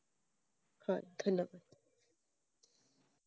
হয়, ধন্যবাদ ।